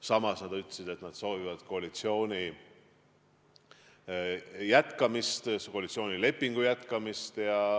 Samas nad ütlesid, et nad soovivad koalitsiooni jätkamist, koalitsioonilepingu püsimist.